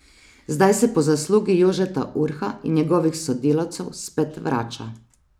Zdaj se po zaslugi Jožeta Urha in njegovih sodelavcev spet vrača.